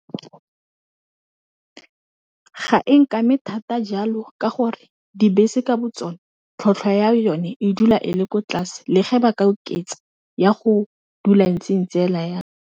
Ga e nkame thata jalo ka gore dibese ka bo tsone tlhotlhwa ya yone, e dula e le ko tlase le ge ba ka oketsa ya go dula e ntse-e ntse hela yalo.